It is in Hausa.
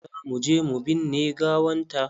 Za mu je mu binne gawanta.